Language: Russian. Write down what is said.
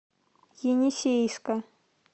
енисейска